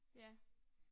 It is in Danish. Ja